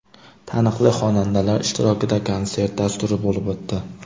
Taniqli xonandalar ishtirokida konsert dasturi bo‘lib o‘tdi.